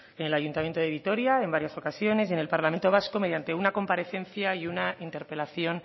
en el ayuntamiento de vitoria en varias ocasiones y en el parlamento vasco mediante una comparecencia y una interpelación